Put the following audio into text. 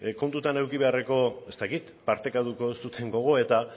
kontutan eduki beharreko ez dakit partekatuko zuten gogoeta